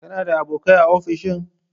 Kana da abokai a ofishin?